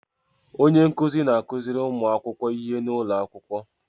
Onye nkuzi na-akuziri ụmụ akwụkwọ ihe n'ụlọ akwụkwọ.